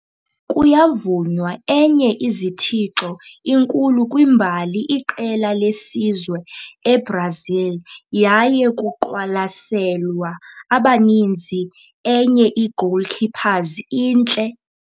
Kuyavunywa enye izithixo inkulu kwimbali iqela lesizwe eBrazil, yaye kuqwalaselwa abaninzi enye igoalkeepers intle